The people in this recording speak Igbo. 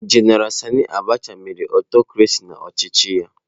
Jenara Sani Abacha mere aụtọcrasị n'ọchịchị ya.